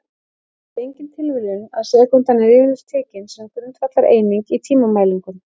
Það er því engin tilviljun að sekúndan er yfirleitt tekin sem grundvallareining í tímamælingum.